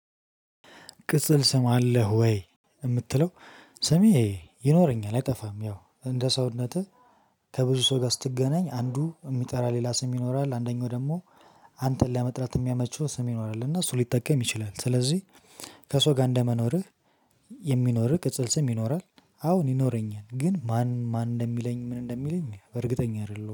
ቅጽል ስም አለህ ወይ? የምትለው ስሜ ይኖረኛል አይጠፋም። ያው እንደ ሰውነትህ ከብዙ ሰው ጋር ስትገናኝ አንዱ ሚጠራ ሌላ ስም ይኖራል። አንደኛው ደግሞ አንተን ለመጥራት የሚያመቹው ስም ይኖራል። እና እሱ ሊጠቀም ይችላል። ስለዚህ ከሰው ጋር እንደመኖርህ የሚኖርህ ቅጽል ስም ይኖራል። አዎን ይኖረኛል ግን ማን ማን እንደሚለኝ ምን እንደሚለኝ? እርግጠኛ አይደለሁም